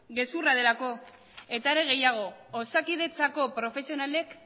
gezurra delako eta are gehiago osakidetzako profesionalek